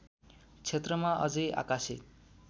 क्षेत्रमा अझै आकासे